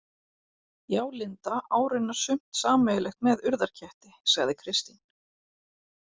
Já, Linda á raunar sumt sameiginlegt með Urðarketti, sagði Kristín.